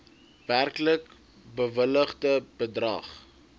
werklik bewilligde bedrag